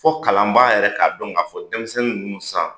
Fo kalanbaa yɛrɛ k'a dɔn k'a fɔ denmisɛnnin ninnu sisaan